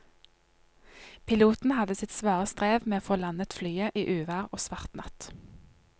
Piloten hadde sitt svare strev med å få landet flyet i uvær og svart natt.